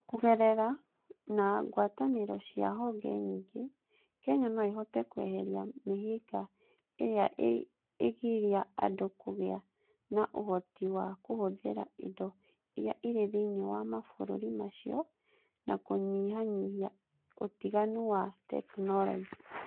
Kũgerera na ngwatanĩro cia honge nyingĩ, Kenya no ĩhote kweheria mĩhĩnga ĩrĩa ĩgiria andũ kũgĩa na ũhoti wa kũhũthĩra indo iria irĩ thĩinĩ wa mabũrũri macio na kũnyihanyihia ũtiganu wa tekinolonjĩ.